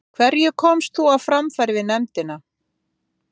Elín Margrét Böðvarsdóttir: Hverju komst þú á framfæri við nefndina?